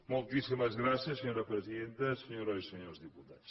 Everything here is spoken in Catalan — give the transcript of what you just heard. moltíssimes gràcies senyora presidenta senyores i senyors diputats